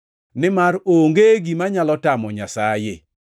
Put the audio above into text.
Nimar onge gima nyalo tamo Nyasaye.”